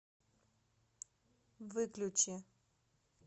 выключи